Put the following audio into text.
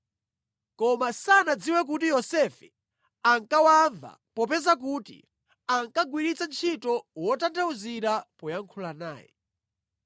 Koma sanadziwe kuti Yosefe ankawamva popeza kuti ankagwiritsa ntchito wotanthauzira poyankhula naye.